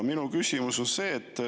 Minu küsimus on see.